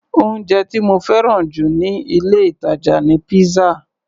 Oúnjẹ tí mo fẹ́ràn jù níh ilé-ìtàjà ni pizza.